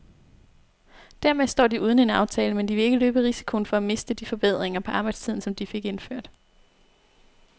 Dermed står de uden en aftale, men de vil ikke løbe risikoen for at miste de forbedringer på arbejdstiden, som de fik indført.